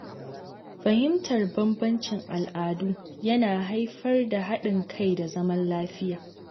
Fahimtar bambancin al’adu yana haifar da haɗin kai da zaman lafiya.